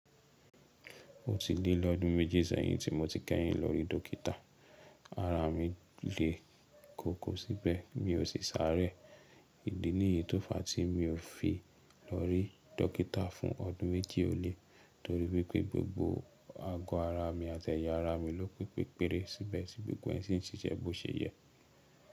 Ó ti lé lọ́dún méjì sẹ́yìn tí mo ti kẹ́yìn lọ rí dọ́kítà. Ara mi le koko síbẹ̀, mi ò sì sáré. Ìdí níyì tó fa tí mi ò fi lọ rí dọ́kítà fún ọdún méjì o lẹ́ torí wípé gbogbo ago ara mi àti ẹ̀yà ara mi ló pe pepéré síbẹ̀ tí gbogbo ẹ́ ṣìn ṣiṣẹ́ bó ṣe yẹ.